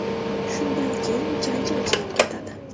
Shundan keyin janjal chiqib ketadi.